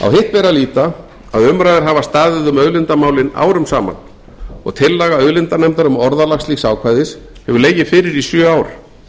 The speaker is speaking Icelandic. að líta að umræður hafa staðið um auðlindamálin árum saman og tillaga auðlindanefndar um orðalag slíks ákvæðis hefur legið fyrir í sjö ár